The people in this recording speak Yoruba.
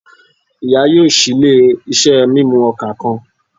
Iya yoo ṣii ile-iṣẹ mimu oka kan